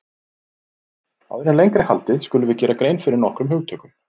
Áður en lengra er haldið skulum við gera grein fyrir nokkrum hugtökum.